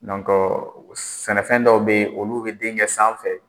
sɛnɛfɛn dɔw bɛ ye olu bɛ denkɛ sanfɛ.